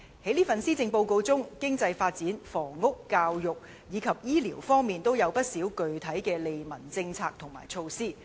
今年的施政報告就經濟發展、房屋、教育及醫療等各方面，提出了不少具體的利民政策和措施。